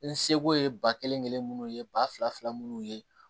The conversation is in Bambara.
N seko ye ba kelen kelen minnu ye ba fila munnu ye